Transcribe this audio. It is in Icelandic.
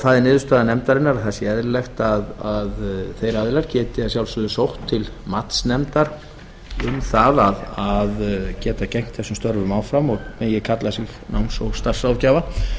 það er niðurstaða nefndarinnar að það sé eðlilegt að þeir aðilar geti að sjálfsögðu sótt til matsnefndar um það að geta gegnt þessum störfum áfram og megi kalla sig náms og starfsráðgjafa